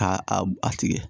Ka a tigɛ